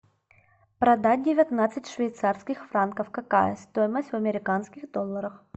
продать девятнадцать швейцарских франков какая стоимость в американских долларах